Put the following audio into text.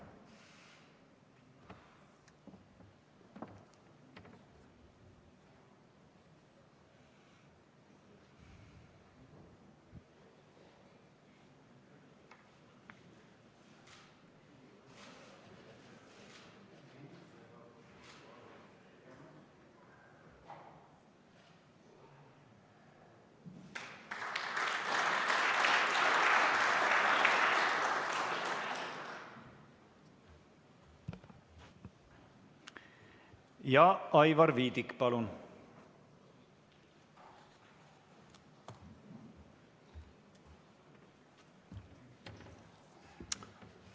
Ja Aivar Viidik, palun!